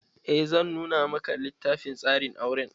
Eh zan nuna maka littafin tsarin auren.